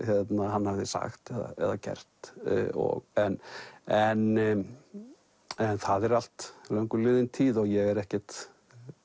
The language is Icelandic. hann hafði sagt eða gert en en en það er allt löngu liðin tíð og ég er ekkert